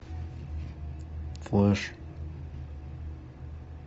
флэш